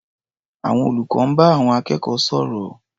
Àwọn olùkọ́ ń bá àwọn akẹ́kọ̀ọ́ sọ̀rọ̀.